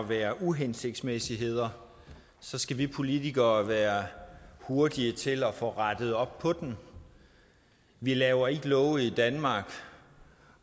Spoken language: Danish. være uhensigtsmæssigheder så skal vi politikere være hurtige til at få rettet op på dem vi laver ikke love i danmark